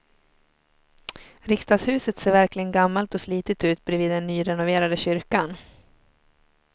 Riksdagshuset ser verkligen gammalt och slitet ut bredvid den nyrenoverade kyrkan.